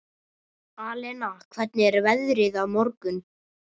Alena, hvernig er veðrið á morgun?